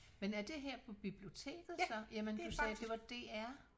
Men er det her på biblioteket så jamen du sagde det var DR?